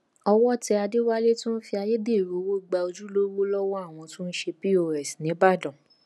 owó tẹ àdéwálé tó ń fi ayédèrú owó gba ojúlówó lọwọ àwọn tó ń ṣe pọs níbàdàn